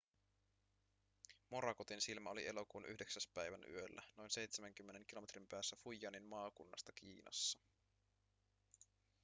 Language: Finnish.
morakotin silmä oli elokuun 9 päivän yöllä noin seitsemänkymmenen kilometrin päässä fujianin maakunnasta kiinassa